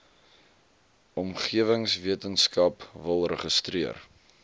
omgewingswetenskap wil registreer